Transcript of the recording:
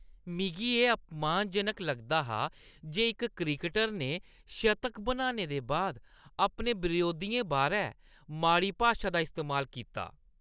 मिगी एह् अपमानजनक लगदा हा जे इक क्रिकटर ने शतक बनाने दे बाद अपने बरोधियें बारै माड़ी भाशा दा इस्तेमाल कीता।